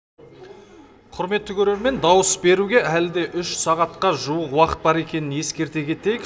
құрметті көрермен дауыс беруге әлі де үш сағатқа жуық уақыт бар екенін ескерте кетейік